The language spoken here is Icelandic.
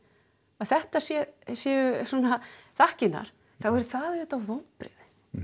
að þetta séu séu svona þakkirnar þá er það auðvitað vonbrigði